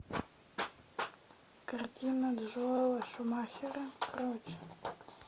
картина джоэла шумахера прочь